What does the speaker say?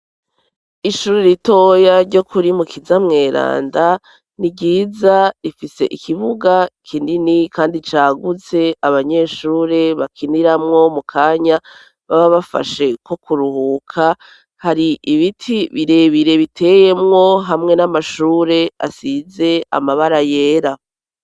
Ishuri ritoya ryo kuri mu kizana mweranda ni ryiza rifise ikibuga kinini kandi cagutse abanyeshuri bakiniramwo mu kanya baba bafashe ko kuruhuka, hari ibiti birebire biteyemwo hamwe n'amashure asize amabara yera.